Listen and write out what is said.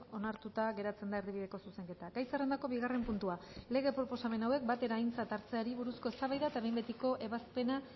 onartuta geratzen da erdibideko zuzenketa gai zerrendako bigarren puntua lege proposamen hauek batera aintzat hartzeari buruzko eztabaida eta behin betiko ebazpena